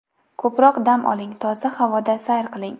Ko‘proq dam oling, toza havoda sayr qiling.